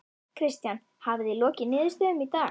Kristján: Hafið þið lokið niðurstöðum í dag?